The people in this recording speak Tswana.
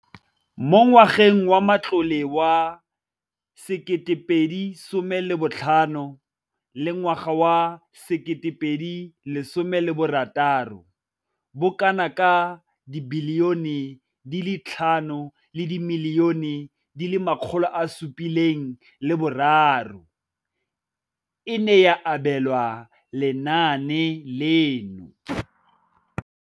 Mo ngwageng wa matlole wa 2015 go fitlha 2016, bokanaka R5 703 bilione e ne ya abelwa lenaane leno.